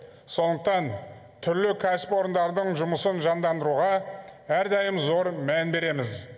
сондықтан түрлі кәсіпорындардың жұмысын жандандыруға әрдайым зор мән береміз